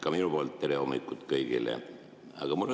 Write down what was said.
Ka minu poolt tere hommikust kõigile!